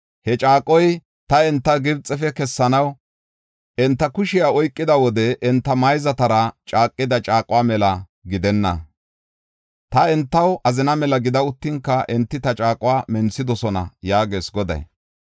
He caaqoy ta enta Gibxefe kessanaw enta kushiya oykida wode enta mayzatara caaqida caaquwa mela gidenna. Ta entaw azina mela gida uttinka enti ta caaquwa menthidosona” yaagees Goday.